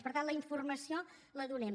per tant la informació la donem